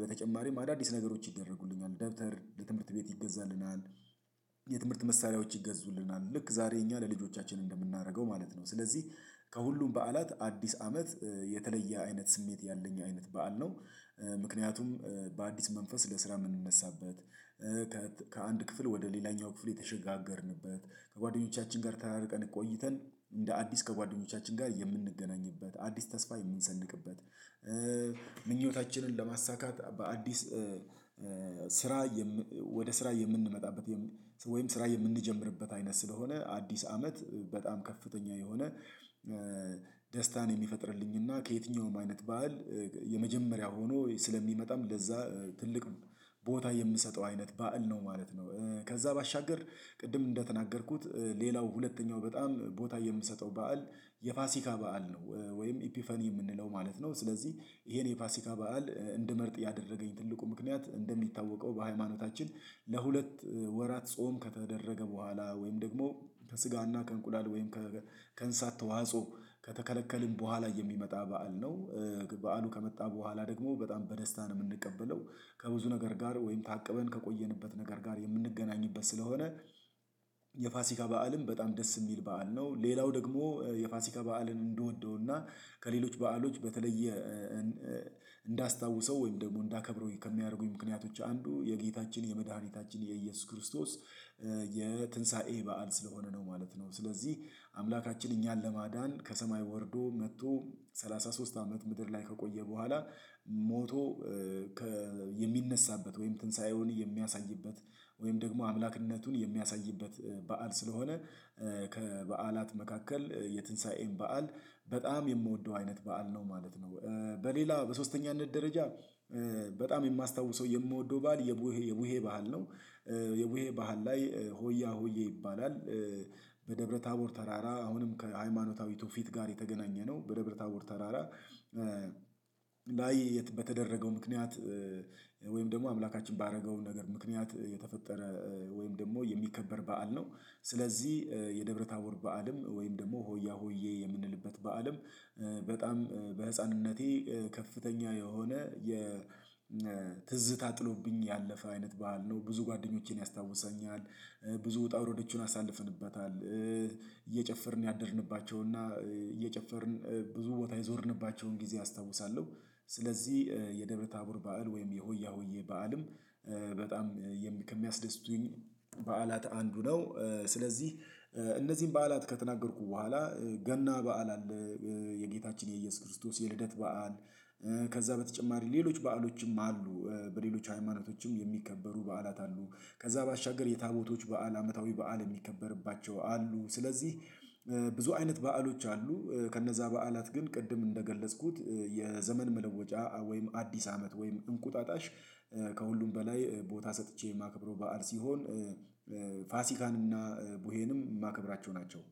በተጨማሪም አዳዲስ ነገሮች ይደረጉልኛል ደብተር ትምህርት ቤት ይገዛልናል። የትምህርት መሳሪያዎች ይገዙልናል ልክ ዛሬ እኛ ለልጆቻችን እንደምናደርገው ማለት ነው። ስለዚህ ከሁሉም በዓላት አዲስ አመት የተለየ አይነት ስሜት ያለኝ አይነት በዓል ነው። ምክንያቱም በአዲስ መንፈስ ለስራ የምንነሳበት። ከአንድ ክፍል ወደ ሌላኛው ክፍል የተሸጋገርንበት ከጓደኞቻችን ጋር ተራርቀን ቆይተን እንደ አዲስ ከጓደኞቻችን ጋር የምንገናኝበት አዲስ ተስፋ የምንሰንቅበት። ምኞታችንን ለማሳካት በአዲስ ስራ ወደ ስራ የምንመጣበት ወይም ስራ የምንጀምርበት አይነት ስለሆነ አዲስ አመት በጣም ከፍተኛ የሆነ ደስታን የሚፈጥርልኝና ከየትኛውም አይነት በዓል የመጀመሪያ ሆኖ ስለሚመጣም ለዛ ትልቅ ቦታ የምሰጠው አይነት በዓል ነው ማለት ነው። ከዛ ባሻገር ቅድም እንደተናገርኩት ሌላው ሁለተኛው በጣም ቦታ የምሰጠው በዓል የፋሲካ በዓል ነው። ወይም ኢፒፋኒ የምንለው ማለት ነው ስለዚህ ይሄን የፋሲካ በዓል እንደመርጥ ያደረገኝ ትልቁ ምክንያት እንደሚታወቀው በሃይማኖታችን ለሁለት ወራት ጾም ከተደረገ በኋላ ወይም ደግሞ ከስጋና ከእንቁላል ወይም ከእንሳት ተዋጽኦ ከተከለከልን በኋላ የሚመጣ በዓል ነው። በዓሉ ከመጣ በኋላ ደግሞ በጣም በደስታ ነው የምንቀበለው ከብዙ ነገር ጋር ወይም ታቅበን ከቆየንበት ነገር ጋር የምንገናኝበት ስለሆነ። የፋሲካ በዓልም በጣም ደስ የሚል በዓል ነው። ሌላው ደግሞ የፋሲካ በዓልን እንደወደውና ከሌሎች በዓሎች በተለየ እንዳስታውሰው ወይም ደግሞ እንዳከብረው ከሚያደርጉኝ ምክንያቶች አንዱ የጌታችን የመድኃኒታችን የኢየሱስ ክርስቶስ የትንሳኤ በዓል ስለሆነ ነው ማለት ነው። ስለዚህ አምላካችን እኛን ለማዳን ከሰማይ ወርዶ መጥቶ ሰላሳ ሶስት አመት ምድር ላይ ከቆየ በኋላ ሞቶ የሚነሳበት ወይም ትንሳኤውን የሚያሳይበት ወይም ደግሞ አምላክነቱን የሚያሳይበት በዓል ስለሆነ። ከበዓላት መካከል የትንሳኤን በዓል በጣም የምወደው አይነት በዓል ነው ማለት ነው። በሌላ በሶስተኛነት ደረጃ በጣም የማስታውሰው የምወደው ባል የቡሄ የቡሄ ባህል ነው። የቡሄ ባህል ላይ ሆያ ሆዬ ይባላል። በደብረ ታቦር ተራራ አሁንም ከሃይማኖታዊቱ ፊት ጋር የተገናኘነው በደብረ ታቦር ተራራ ላይ በተደረገው ምክንያት ወይም ደግሞ አምላካችን ባደረገው ነገር ምክንያት የተፈጠረ ወይም ደግሞ የሚከበር በዓል ነው። ስለዚህ የደብረ ታቦር በዓልም ወይም ደግሞ ሆያ ሆዬ የምንልበት በዓልም በጣም በህፃንነቴ ከፍተኛ የሆነ የ የትዝ ታጥሎብኝ ያለፈ አይነት በዓል ነው ብዙ ጓደኞቼን ያስታውሰኛል። ብዙ ውጣ ውረዶችን አሳልፍንበታል እየጨፈርን ያደርንባቸውና እየጨፈርን ብዙ ቦታ የዞርንባቸውን ጊዜ አስታውሳለሁ። ስለዚህ የደብረ ታቦር በዓል ወይም የሆያ ሆዬ በዓልም በጣም ከሚያስደስቱኝ በዓላት አንዱ ነው። ስለዚህ እነዚህን በዓላት ከተናገርኩ በኋላ ገና በዓል አለ። የጌታችን የኢየሱስ ክርስቶስ የልደት በዓል ከዛ በተጨማሪ ሌሎች በዓሎችም አሉ። በሌሎች ሃይማኖቶችም የሚከበሩ በዓላት አሉ። ከዛ ባሻገር የታቦቶች በዓል አመታዊ በዓል የሚከበርባቸው አሉ ስለዚህ። ብዙ አይነት በዓሎች አሉ። ከነዛ በዓላት ግን ቅድም እንደገለጽኩት የዘመን መለወጫ ወይም አዲስ አመት ወይም እንቁጣጣሽ። ከሁሉም በላይ ቦታ ሰጥቼ የማከብረው በዓል ሲሆን። ፋሲካን እና ቡሄንም የማከብራቸው ናቸው።